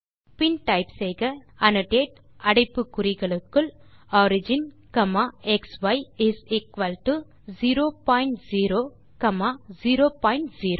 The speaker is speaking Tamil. பின் டைப் செய்க அன்னோடேட் அடைப்பு குறிகளுக்குள் origin comma xi is equal to 0 point 0 comma 0 point 0